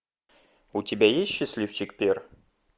у тебя есть счастливчик пер